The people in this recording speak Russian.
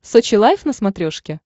сочи лайв на смотрешке